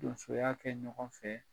Donsoya kɛ ɲɔgɔn fɛ